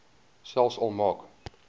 selfs al maak